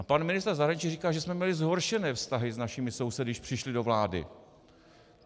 A pan ministr zahraničí říkal, že jsme měli zhoršené vztahy s našimi sousedy, když přišli do vlády.